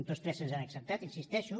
tots tres se’ns han acceptat hi insisteixo